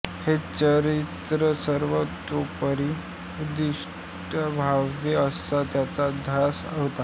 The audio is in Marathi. हे चरित्र सर्वतोपरी उत्कृष्ट व्हावे असा त्यांचा ध्यास होता